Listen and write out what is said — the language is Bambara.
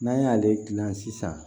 N'an y'ale dilan sisan